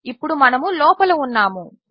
ఇప్పుడు మనము లోపల ఉన్నాము